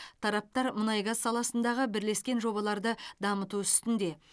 тараптар мұнай газ саласындағы бірлескен жобаларды дамыту үстінде